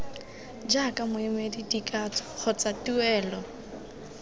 jaaka moemedi dikatso kgotsa tuelo